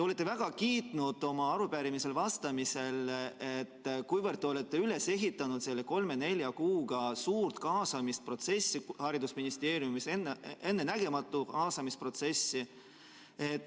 Te väga kiitsite oma arupärimisele vastates, et te olete selle kolme-nelja kuuga haridusministeeriumis üles ehitanud suure kaasamisprotsessi, ennenägematu kaasamisprotsessi.